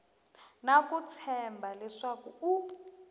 na ku tshemba leswaku u